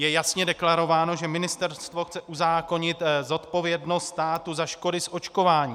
Je jasně deklarováno, že ministerstvo chce uzákonit odpovědnost státu za škody z očkování.